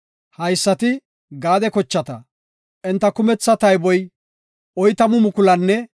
Haysati Gaade kochata; enta kumetha tayboy 40,500.